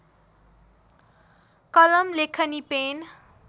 कलम लेखनी पेन